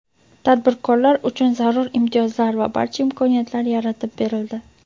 tadbirkorlar uchun zarur imtiyozlar va barcha imkoniyatlar yaratib berildi.